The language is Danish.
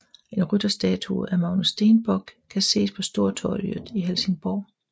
En rytterstatue af Magnus Stenbock kan ses på Stortorget i Helsingborg